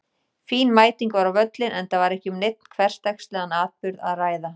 Fín mæting var á völlinn enda var ekki um neinn hversdagslegan atburð að ræða.